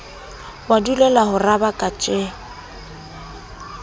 wa dulela ho rabaka tje